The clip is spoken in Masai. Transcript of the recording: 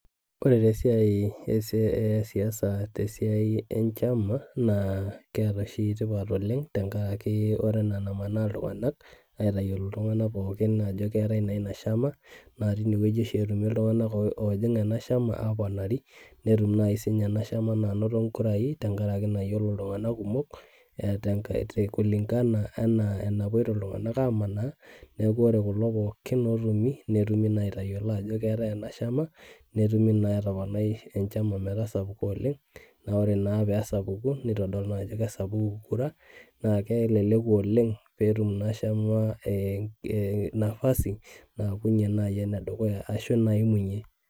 koree taa esiai e siasa te siai enchama naa keta tipat oleng tengaraki kore enaa naamana iltunganak aitayiolo iltunganak pooki ajo keatai naa inashama naa tenewueji oshi etumi iltunganak oojing ena shama aponari netum na naai sininye enashama anoto ingurai tee ngaraki nayiolo iltunganak kumok tee kulingana enaa napoito naa kulo tunganak amanaa neaku koree kulo pooki otoni netumi naa aitayiolo ajo keatai enashama netumii naa atamanai enashama meeta sapuk oleng naa oree naa pesapuku nitodulu naa ajo kesapuku kura naa kelelku oleng peetum inashama naii nafasi peaku ene dukuya arasho naimunye.